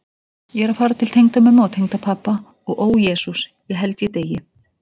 Ég er að fara til tengdamömmu og tengdapabba og ó Jesús, ég held ég deyi.